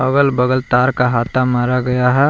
बगल बगल तार का हाता मारा गया है।